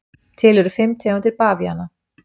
Til eru fimm tegundir bavíana.